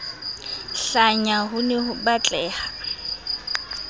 hlanya ho ne ho batleha